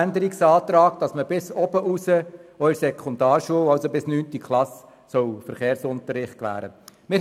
Zu Artikel 9 liegt der Antrag vor, dass bis zur neunten Klasse Verkehrsunterricht erteilt werden soll.